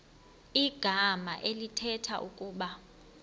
igama elithetha ukuba